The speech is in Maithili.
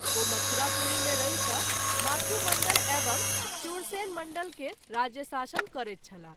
ओ मथुरापुरी मे रहि क’ माथुमण्डल एवं शूरसेनमण्डल केर राज्यशासन करैत छलाह।